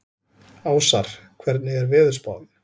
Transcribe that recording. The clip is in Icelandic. Ásar, hvernig er veðurspáin?